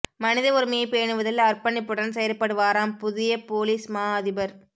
மனித உரிமையை பேணுவதில் அர்ப்பணிப்புடன் செயற்படுவாராம் புதிய பொலிஸ் மா அதிபர்